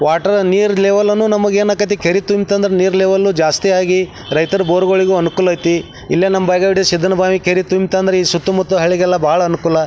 Water ನೀರ್ level ನು ನಮಗ್ ಏನ್ ಅಕಾತಿ ಕೆರಿ ತುಂಬುತ ಅಂದ್ರ ನೀರ ಲೆವೆಲ್ ಜಾಸ್ತಿ ಆಗಿ ರೈತರ ಬೋರ್ ಗಳಿಗೂ ಅನುಕೂಲ ಐತಿ ಇಲ್ಲೇ ನಮ್ ಸುತ್ತ ಮುತ್ತ ಹಳ್ಳಿಗೆಲ್ಲ ಬಹಳ ಅನುಕೂಲ.